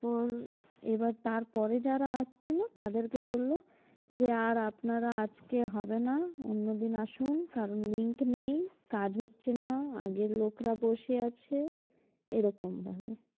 তো এবার তার পরে যারা আসছিল তাদেরকে বলল যে আর আপনারা আজকে হবে না অন্যদিন আসেন কারণ link নেই কাজ হচ্ছে না আগের লোকরা বসে আছে এরকম ভাবে।